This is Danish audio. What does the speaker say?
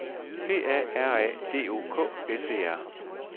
P A R A D O K S E R